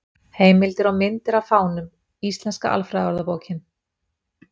Heimildir og myndir af fánum: Íslenska alfræðiorðabókin.